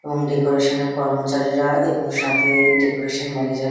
এবং ডেকোরেশনের কর্মচারীরা এবং সাথে-এ ডেকোরেশন ম্যানেজার --